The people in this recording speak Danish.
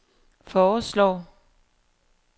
foreslår